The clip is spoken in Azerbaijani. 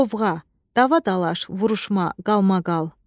Qovğa, dava-dalaş, vuruşma, qalmaqal.